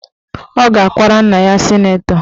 Ọ ga-akwara nna ya sịnetọ